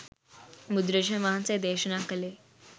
බුදුරජාණන් වහන්සේ දේශනා කළේ